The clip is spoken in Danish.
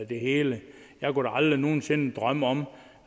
det hele jeg kunne da aldrig nogen sinde drømme om